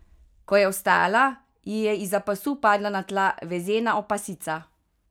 Ko je vstala, ji je izza pasu padla na tla vezena opasica.